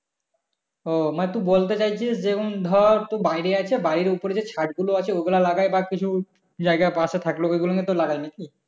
ও মানে তুই বলতে চাইছিস যে উম ধর বাড়ি আছে বাড়ির ওপরে যে ছাদগুলো আছে ওগুলোতে লাগায় বা কিছু জায়গা পশে থাকলে ওগুলোতে লাগে নাকি